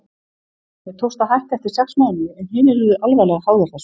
Mér tókst að hætta eftir sex mánuði en hinir urðu alvarlega háðir þessu.